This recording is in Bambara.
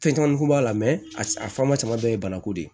Fɛn caman kun b'a la a faama caman bɛɛ ye bana ko de ye